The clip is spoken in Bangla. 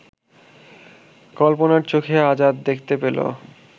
কল্পনার চোখে আজাদ দেখতে পেল